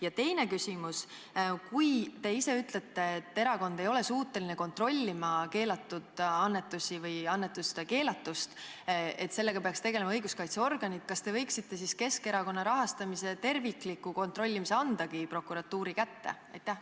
Ja teine küsimus: kui te ise ütlete, et erakond ei ole suuteline kontrollima keelatud annetusi või annetuste keelatust, sest sellega peaks tegelema õiguskaitseorganid, siis kas te võiksite andagi Keskerakonna rahastamise tervikliku kontrollimise prokuratuuri kätte?